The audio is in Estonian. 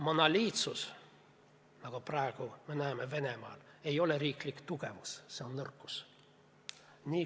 Monoliitsus, mida me praegu näeme Venemaal, ei ole riigi tugevus, see on nõrkus.